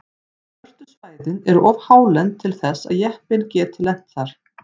Svörtu svæðin eru of hálend til þess að jeppinn geti lent þar.